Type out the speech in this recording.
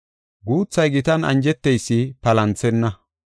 Guuthay gitan anjeteysi palanthenna.